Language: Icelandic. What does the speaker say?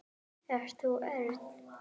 Ert þú Örn?